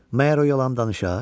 Məyər o yalan danışar?